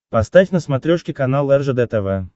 поставь на смотрешке канал ржд тв